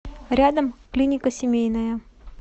рядом клиника семейная